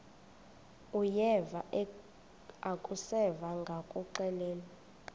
uyeva akuseva ngakuxelelwa